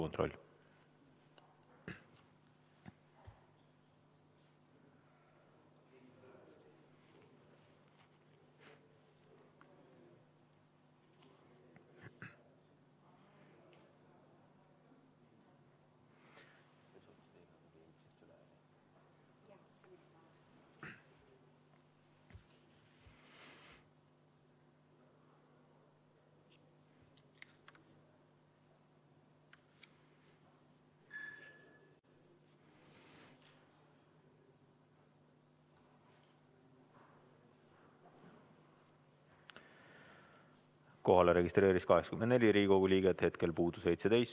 Kohalolijaks registreeris ennast 84 Riigikogu liiget, hetkel puudub 17.